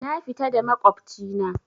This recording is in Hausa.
Na fita da maƙwabci na